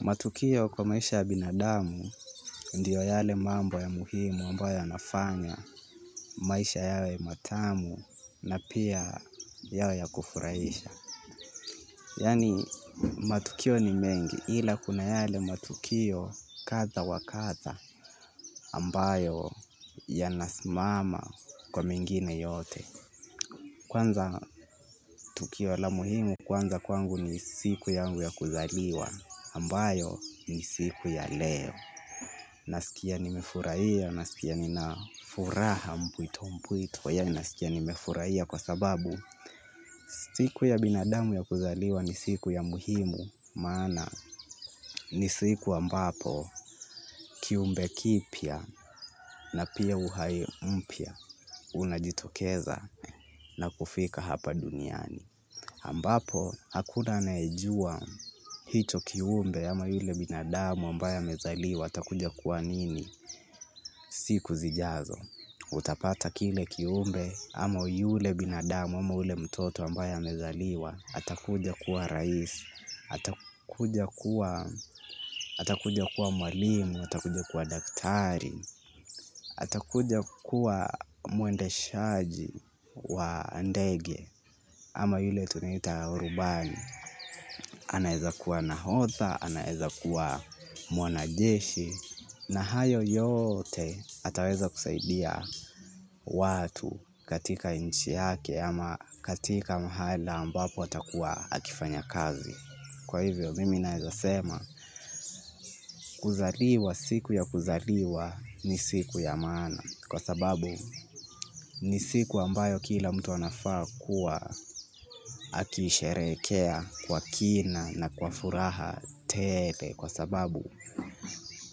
Matukio kwa maisha ya binadamu ndio yale mambo ya muhimu ambayo yanafanya maisha yawe matamu na pia yawe ya kufurahisha. Yaani matukio ni mengi ila kuna yale matukio kadhaa wa kadhaa ambayo yanasimama kwa mengine yote. Kwanza tukio la muhimu kwanza kwangu ni siku yangu ya kuzaliwa ambayo ni siku ya leo. Nasikia nimefurahia, nasikia ninafuraha mpuwito mpuwito, yaani nasikia nimefurahia kwa sababu siku ya binadamu ya kuzaliwa ni siku ya muhimu, maana ni siku ambapo kiumbe kipya na pia uhai umpya, unajitokeza na kufika hapa duniani. Ambapo, hakuna anayejua hicho kiumbe ama yule binadamu ambaye amezaliwa atakuja kuwa nini. Siku zijazo. Utapata kile kiumbe ama yule binadamu ama yule mtoto ambaye amezaliwa atakuja kuwa rais, atakuja kuwa mwalimu, atakuja kuwa daktari, atakuja kuwa mwendeshaji wa ndege. Ama yule tunaita rubani, anaeza kuwa nahodha, anaeza kuwa mwanajeshi, na hayo yote ataweza kusaidia watu katika nchi yake ama katika mahala ambapo atakuwa akifanya kazi. Kwa hivyo mimi naezasema kuzaliwa siku ya kuzaliwa ni siku ya maana kwa sababu ni siku ambayo kila mtu anafaa kuwa akisherekea kwa kina na kwa furaha tele kwa sababu.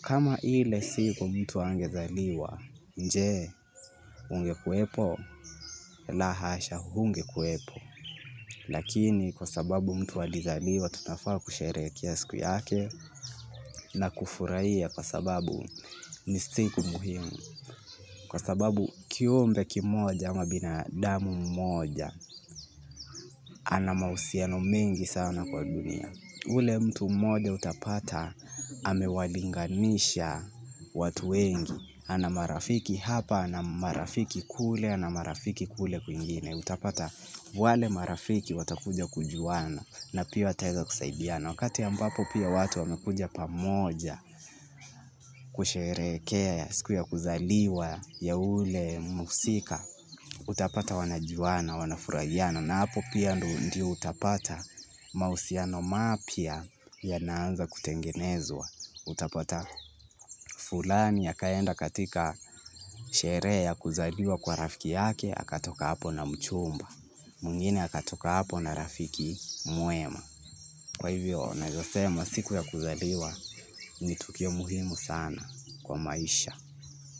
Kama ile siku mtu angezaliwa je, ungekuwepo la hasha hungekuwepo lakini kwa sababu mtu alizaliwa tunafaa kusherehekea siku yake na kufurahia kwa sababu ni siku muhimu kwa sababu kiumbe kimoja ama binadamu mmoja ana mahusiano mengi sana kwa dunia ule mtu mmoja utapata amewalinganisha watu wengi ana marafiki hapa na marafiki kule na marafiki kule kwingine utapata wale marafiki watakuja kujuana na pia wataweza kusaidiana. Wakati ambapo pia watu wamekuja pamoja kusherekea, siku ya kuzaliwa ya ule mhusika. Utapata wanajuwana, wanafurahiana na hapo pia ndo ndi utapata mahusiano mapya yanaanza kutengenezwa utapata fulani akaenda katika sherehe ya kuzaliwa kwa rafiki yake akatoka hapo na mchumba mwingine akatoka hapo na rafiki mwema kwa hivyo naeza sema siku ya kuzaliwa ni tukio muhimu sana kwa maisha.